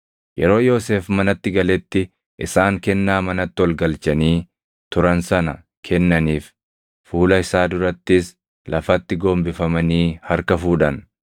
Yeroo Yoosef manatti galetti isaan kennaa manatti ol galchanii turan sana kennaniif; fuula isaa durattis lafatti gombifamanii harka fuudhan.